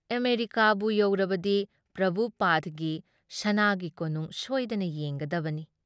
ꯑꯃꯦꯔꯤꯀꯥꯕꯨ ꯌꯧꯔꯕꯗꯤ ꯄ꯭ꯔꯚꯨꯄꯥꯗꯒꯤ ꯁꯅꯥꯒꯤ ꯀꯣꯅꯨꯡ ꯁꯣꯏꯗꯅ ꯌꯦꯡꯒꯗꯕꯅꯤ ꯫